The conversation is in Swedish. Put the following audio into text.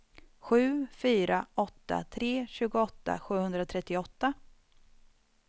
sju fyra åtta tre tjugoåtta sjuhundratrettioåtta